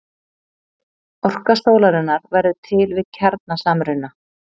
orka sólarinnar verður til við kjarnasamruna